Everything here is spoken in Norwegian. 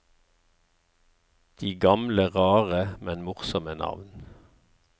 De gamle rare, men morsomme navn.